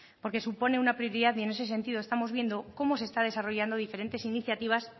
porque supone una prioridad y ese sentido estamos viendo cómo se están desarrollando diferentes iniciativas